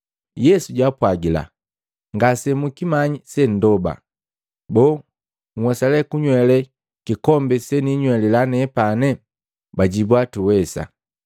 Yesu jwaapwagila, “Ngase mukimanyi sendoba. Boo, nhwesa kunywele kikombi seniinywelila nepani?” Bajibwa, “Tuwesa.”